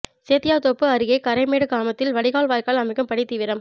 சேத்தியாத்தோப்பு அருகே கரைமேடு கிராமத்தில் வடிகால் வாய்க்கால் அமைக்கும் பணி தீவிரம்